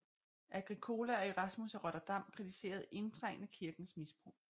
Agricola og Erasmus af Rotterdam kritiserede indtrængende kirkens misbrug